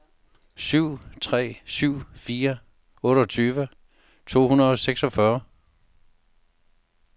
syv tre syv fire otteogtyve to hundrede og seksogfyrre